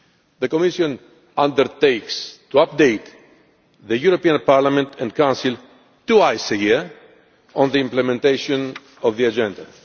The Commission undertakes to update the European Parliament and the Council twice a year on the implementation of the agenda.